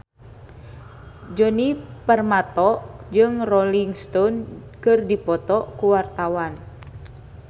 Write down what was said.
Djoni Permato jeung Rolling Stone keur dipoto ku wartawan